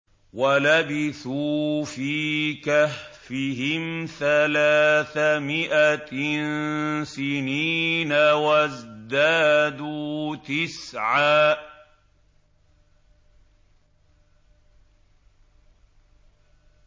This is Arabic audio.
وَلَبِثُوا فِي كَهْفِهِمْ ثَلَاثَ مِائَةٍ سِنِينَ وَازْدَادُوا تِسْعًا